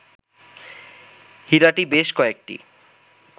হীরাটি বেশ কয়েকটি